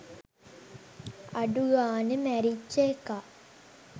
අඩු ගානෙ මැරිච්ච එකා